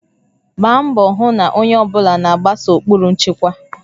Gbaa mbọ hụ na onye ọ bụla na-agbaso ụkpụrụ nchekwa